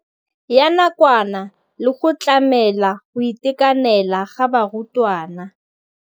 Ya nakwana le go tlamela go itekanela ga barutwana.